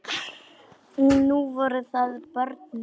Nú voru það börnin.